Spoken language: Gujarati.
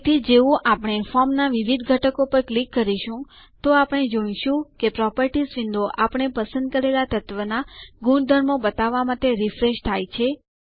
તેથી જેવું આપણે ફોર્મના વિવિધ ઘટકો પર ક્લિક કરીશું તો આપણે જોઈશું કે પ્રોપર્ટીઝ વિન્ડો આપણે પસંદ કરેલા તત્વના ગુણધર્મો બતાવવા માટે રીફ્રેશ થાય છે